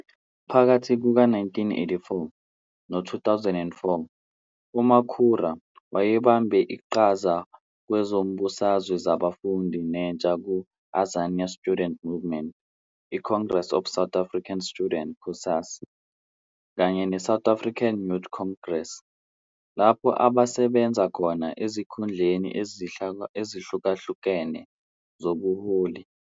Phakathi kuka-1984 no-2004 uMakhura wayebambe iqhaza kwezombusazwe zabafundi nentsha ku- Azanian Student Movement, iCongress of South African Students, COSAS, kanye neSouth African Youth Congress, lapho asebenza khona ezikhundleni ezahlukahlukene zobuholi.